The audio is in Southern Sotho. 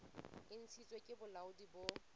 e ntshitsweng ke bolaodi bo